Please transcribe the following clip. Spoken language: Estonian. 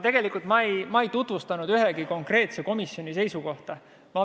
Tegelikult ei tutvustanud ma ühegi konkreetse komisjoni seisukohta.